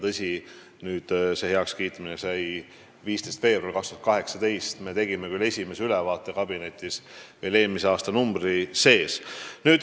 Tõsi, see heakskiitmine oli 15. veebruaril 2018, aga esimese ülevaate kabinetis me tegime juba eelmise aastanumbri sees.